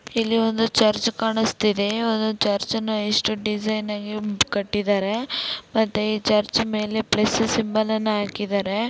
ಇಲ್ಲಿ ಒಂದು ಚರ್ಚ್ ಕಾಣಿಸುತ್ತಿದೆ. ಚರ್ಚ್ ಅನ್ನ ಎಷ್ಟು ಡಿಸೈನ್ ಆಗಿ ಕಟ್ಟಿದರೆ ಮತ್ತೆ ಈ ಚರ್ಚ್ ಮೇಲೆ ಪ್ಲಸ್ ಸಿಂಬಲ್ ಅನ್ನ ಹಾಕಿದರೆ.